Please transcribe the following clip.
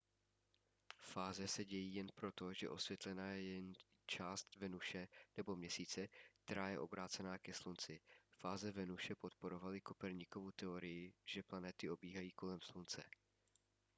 fáze se dějí jen proto že osvětlena je jen část venuše nebo měsíce která je obrácená ke slunci. fáze venuše podporovaly koperníkovu teorii že planety obíhají kolem slunce